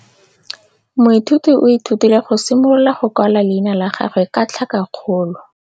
Moithuti o ithutile go simolola go kwala leina la gagwe ka tlhakakgolo.